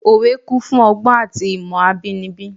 Òwe kún fún ọgbọ́n àti ìmọ̀ abínibí.